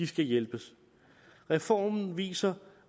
skal hjælpes reformen viser